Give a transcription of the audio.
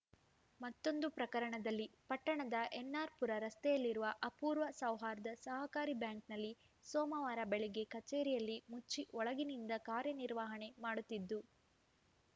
ಮತ್ತೊಂದು ಪ್ರಕರಣದಲ್ಲಿ ಪಟ್ಟಣದ ಎನ್‌ಆರ್‌ಪುರ ರಸ್ತೆಯಲ್ಲಿರುವ ಅಪೂರ್ವ ಸೌಹಾರ್ದ ಸಹಕಾರಿ ಬ್ಯಾಂಕ್‌ನಲ್ಲಿ ಸೋಮವಾರ ಬೆಳಗ್ಗೆ ಕಚೇರಿಯಲ್ಲಿ ಮುಚ್ಚಿ ಒಳಗಿನಿಂದ ಕಾರ್ಯ ನಿರ್ವಹಣೆ ಮಾಡುತ್ತಿದ್ದು